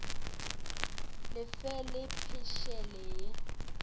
le fe la phešele ya